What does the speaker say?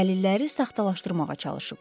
Dəliləri saxtalaşdırmağa çalışıblar.